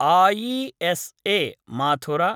ISA Mathur